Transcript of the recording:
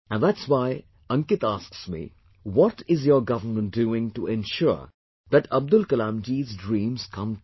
And that's why Ankit asks me... What is your government doing to ensure that Abdul Kalamji's dreams come true